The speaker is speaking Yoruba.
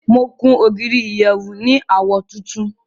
Mo kun ogírí ìyẹ̀wù ní awọ̀ tùntún.